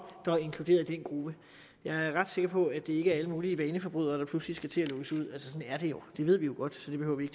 der er inkluderet i den gruppe jeg er ret sikker på at det ikke er alle mulige vaneforbrydere der pludselig skal til at lukkes ud sådan er det jo det ved vi jo godt så det behøver vi